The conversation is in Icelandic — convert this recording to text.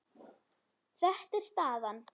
Þetta er staðan.